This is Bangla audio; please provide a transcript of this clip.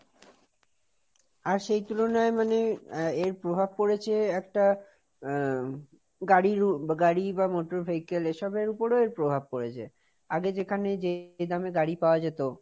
আর সেই তুলনায় মানে এর প্রভাব পড়েছে একটা, আহ গাড়ি~ গাড়ি বা motor vehicle এসবের ওপরেও এর প্রভাব পড়েছে, আগে যেখানে যে এ দামে গাড়ি পাওয়া যেত,